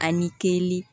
Ani keli